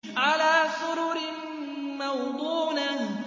عَلَىٰ سُرُرٍ مَّوْضُونَةٍ